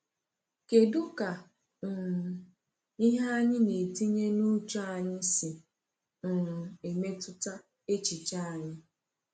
Kedụ ka um ihe anyị na-etinye n’uche anyị si um emetụta echiche anyị?